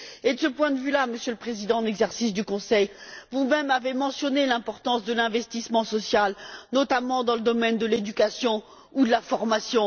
Et de ce point de vue là, Monsieur le Président en exercice du Conseil, vous même avez mentionné l'importance de l'investissement social, notamment dans le domaine de l'éducation ou de la formation.